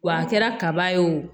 Wa a kɛra kaba ye o